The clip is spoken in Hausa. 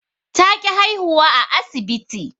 Ta ƙi haihuwa a asibti